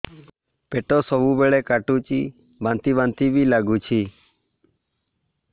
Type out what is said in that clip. ପେଟ ସବୁବେଳେ କାଟୁଚି ବାନ୍ତି ବାନ୍ତି ବି ଲାଗୁଛି